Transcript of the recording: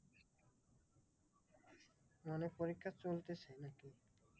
মানে পরীক্ষা চলতেছে নাকি?